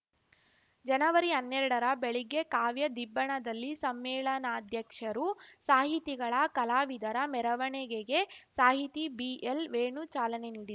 ಜನವರಿಹನ್ನೆರಡರ ಬೆಳಿಗ್ಗೆ ಕಾವ್ಯ ದಿಬ್ಬಣದಲ್ಲಿ ಸಮ್ಮೇಳನಾಧ್ಯಕ್ಷರು ಸಾಹಿತಿಗಳ ಕಲಾವಿದರ ಮೆರವಣೆಗೆಗೆ ಸಾಹಿತಿ ಬಿಎಲ್‌ವೇಣು ಚಾಲನೆ ನೀಡಿ